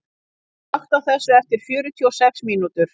Konni, slökktu á þessu eftir fjörutíu og sex mínútur.